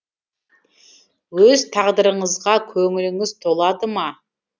өз тағдырыңызға көңіліңіз толады ма